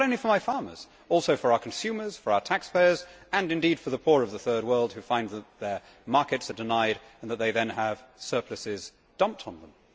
And not only for farmers for our consumers, for our taxpayers, and indeed for the poor of the Third World who find that their markets are denied and that they then have surpluses dumped on them.